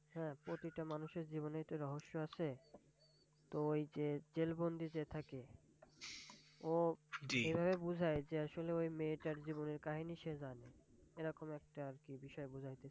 হ্যাঁ প্রতিটা মানুষের জীবনেই তো রহস্য আছে। তো ওই যে জেল বন্দি যে থাকে ও এভাবে বুঝায় যে আসলে ওই মেয়েটার জীবনের কাহিনি সে জানে, এরকম একটা আর কি বিষয়. বুঝাইতেছ।